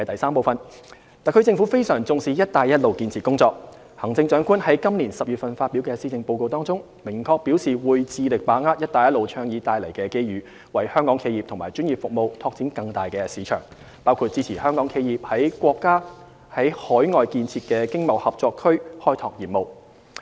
三特區政府非常重視"一帶一路"建設工作，行政長官在今年10月發表的施政報告中，明確表示會致力把握"一帶一路"倡議帶來的機遇，為香港企業和專業服務拓展更大的市場，包括支持香港企業於國家在海外建設的經貿合作區開拓業務。